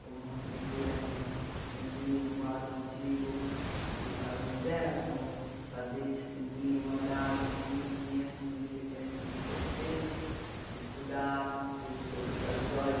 como aprender a distinguir um quadro antigo de um quadro moderno, saber distinguir um arazo de mil e quinhentos, mil e seiscentos, mil e setecentos, estudar tudo sobre as joias.